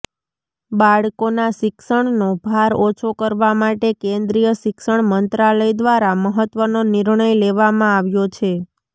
બાળકોના શિક્ષણનો ભાર ઓછો કરવા માટે કેન્દ્રીય શિક્ષણ મંત્રાલય દ્વારા મહત્વનો નિર્ણય લેવામાં આવ્યો છે